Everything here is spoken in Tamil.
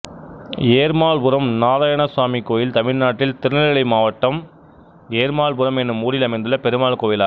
ஏர்மாள்புரம் நாராயணசுவாமி கோயில் தமிழ்நாட்டில் திருநெல்வேலி மாவட்டம் ஏர்மாள்புரம் என்னும் ஊரில் அமைந்துள்ள பெருமாள் கோயிலாகும்